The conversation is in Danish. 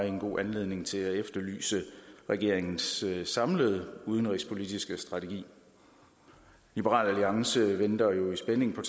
en god anledning til at efterlyse regeringens samlede udenrigspolitiske strategi liberal alliance venter jo i spænding på